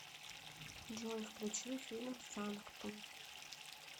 джой включи фильм санктум